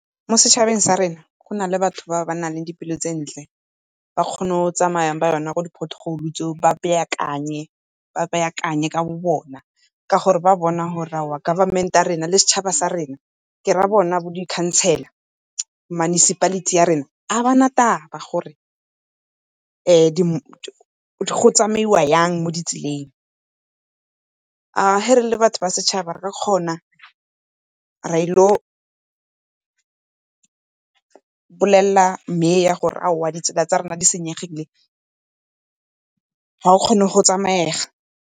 Mo setšhabeng sa rena go na le batho ba ba nang le di pelo tse ntle, ba kgona go tsamaya ka yone mo di-pothole tseo ba beakanye, ba beakanye ka bo bona. Ka gore ba bona gore aowa Government ya rena le setšhaba sa rena, ke ra bone bo di-councillor, municipality ya rena ga ba na taba gore go tsamaiwa yang mo ditseleng. Ga re le batho ba setšhaba re ka kgona ra ile go bolelela mayor gore aowa ditsela tsa rona di senyegile, ga go kgone go tsamaega.